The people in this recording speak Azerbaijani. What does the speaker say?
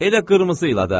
Elə qırmızı ilə də.